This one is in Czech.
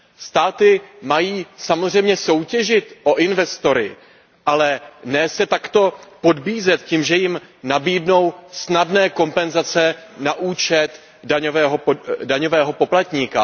Státy mají samozřejmě soutěžit o investory, ale ne se takto podbízet tím, že jim nabídnou snadné kompenzace na účet daňového poplatníka.